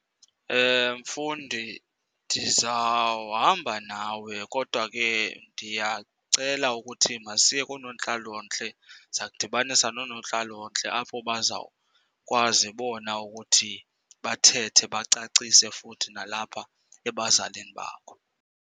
Mfundi, ndizawuhamba nawe kodwa ke ndiyacela ukuthi masiye koonontlalontle, ndiza kukudibanisa noonontlalontle apho bazawukwazi bona ukuthi bathethe, bacacise futhi nalapha ebazalini bakho.